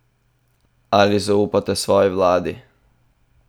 Ali zaupate svoji vladi?